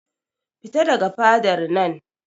Fita daga fadar nan!